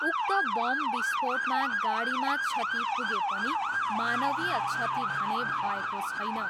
उक्त बम विस्फोटमा गाडीमा क्षति पुगे पनि मानवीय क्षति भने भएको छैन।